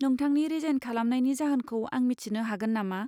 नोंथांनि रिजाइन खालामनायनि जाहोनखौ आं मिथिनो हागोन नामा?